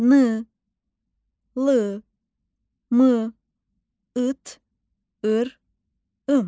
N, l, m, ıt, ır, ım.